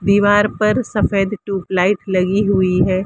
दीवार पर सफेद ट्यूबलाइट लगी हुई है।